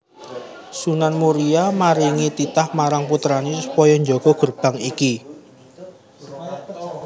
Sunan Muria maringi titah marang putrané supaya njaga gerbang iki